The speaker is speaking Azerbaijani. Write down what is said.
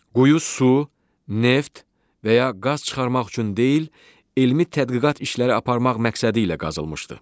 Quyu su, neft və ya qaz çıxarmaq üçün deyil, elmi tədqiqat işləri aparmaq məqsədi ilə qazılmışdı.